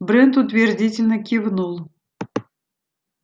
брент утвердительно кивнул